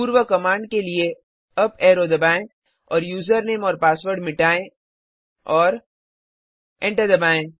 पूर्व कमाण्ड के लिए अप एरो दबाएं और यूज़रनेम और पासवर्ड मिटाएँ और एंटर दबाएं